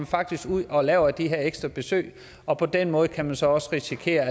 faktisk ud og laver de her ekstra besøg og på den måde kan man så også risikere